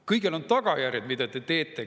Kõigel on tagajärjed, mida te teete.